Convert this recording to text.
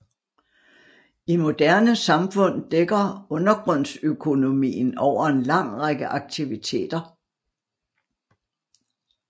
I moderne samfund dækker undergrundsøkonomien over en lang række aktiviteter